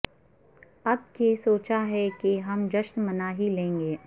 اب کے سوچا ہے کہ ہم جشن منا ہی لیں گے